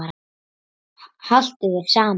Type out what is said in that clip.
Haltu þér saman